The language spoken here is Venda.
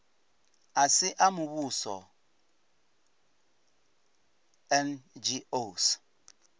a si a muvhuso ngos